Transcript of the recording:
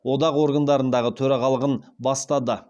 одақ органдарындағы төрағалығын бастады